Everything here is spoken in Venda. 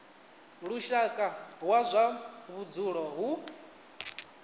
lushaka wa zwa vhudzulo hu